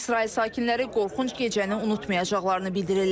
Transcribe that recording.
İsrail sakinləri qorxunc gecəni unutmayacaqlarını bildirirlər.